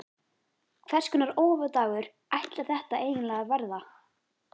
Hvers konar óhappadagur ætlar þetta eiginlega að verða?